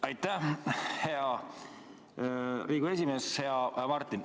Aitäh, hea Riigikogu esimees!